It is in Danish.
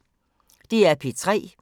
DR P3